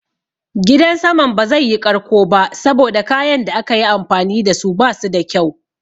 Gidan saman ba zai yi ƙarko ba saboda kayan da aka yi amfani dasu basu da kyau.